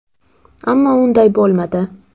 Ammo unday bo‘lmadi.